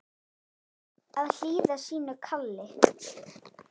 Að hlýða sínu kalli